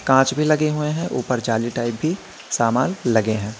कीड़े नजर आ रहे हैं।